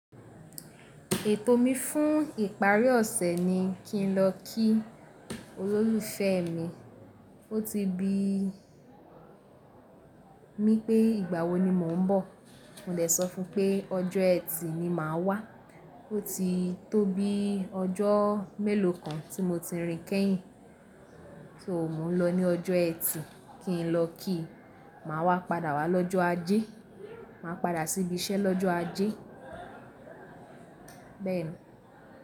Ètò mi fún ìparí ọ̀sẹ̀ ni kí n lọ kí olólùfẹ́ mi. Ó ti bi mí pé ìgbà wo ni mò ń bọ̀. Mò dè sọ fún un pé ọjọ́ ẹtì ni màá wá. Ó ti tó bí ọjọ́ mélòó kan tí mo ti rìn kẹ́yìn. So o mo nlọ ní ọjọ́ ẹtì kí n lọ kí i. Màá wá padà wá lọ́jọ́ ajé. Màá padà sí ibi iṣẹ́ lọ́jọ́ ajé. Bẹ́ẹ̀ ni.